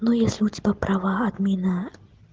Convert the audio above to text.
ну если у тебя права админа